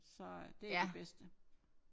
Så det det bedste